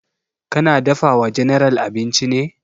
Ka na dafa wa general abinci ne?